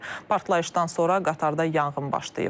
Partlayışdan sonra qatarda yanğın başlayıb.